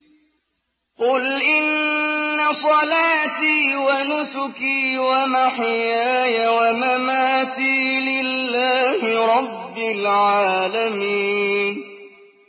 قُلْ إِنَّ صَلَاتِي وَنُسُكِي وَمَحْيَايَ وَمَمَاتِي لِلَّهِ رَبِّ الْعَالَمِينَ